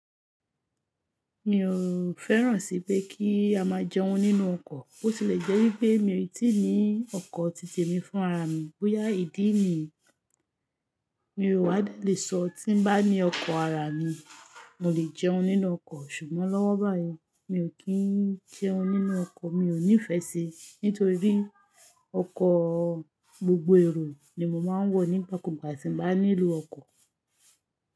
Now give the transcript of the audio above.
Mi ò fẹ́ràn sí pé kí á máa jẹun nínú ọkọ̀. Bo tìle jẹ́ wípé mi ò tí ì ní ọkọ̀ titẹ̀ mi fún ara mi. Bóyá ìdí nìyí, mi ò wá lè sọ tí ń bá ní ọkọ̀ ara mi, mo lè jẹun nínú ọkọ̀. Ṣùgbọ́n lọ́wọ́ báyìí mi ò kí ń jẹun nínú ọkọ̀. Mi ò nífẹ́ ṣe nítorí ọkọ̀, gbogbo èrò ni mo máa ń wọ̀ nígbàkúùgbà tí mo bá nílò ọkọ̀.